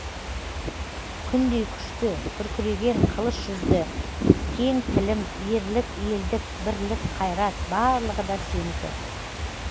күндей күшті күркіреген қылыш жүзді кең тілім ерлік елдік бірлік қайрат барлығы да сенікі